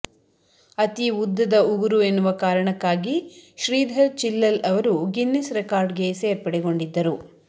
ಅತೀ ಉದ್ದದ ಉಗುರು ಎನ್ನುವ ಕಾರಣಕ್ಕಾಗಿ ಶ್ರೀಧರ್ ಚಿಲ್ಲಲ್ ಅವರು ಗಿನ್ನಿಸ್ ರೆಕಾರ್ಡ್ ಗೆ ಸೇರ್ಪಡೆಗೊಂಡಿದ್ದರು